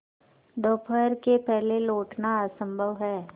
दोपहर के पहले लौटना असंभव है